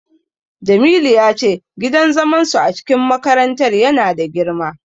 Jamilu ya ce gidan zaman su a cikin makarantar ya na da girma